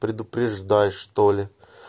предупреждай что ли